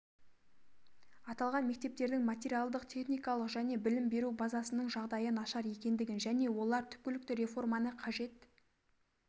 аталған мектептердің материалдық-техникалық және білім беру базасының жағдайы нашар екендігін және олар түпкілікті реформаны қажет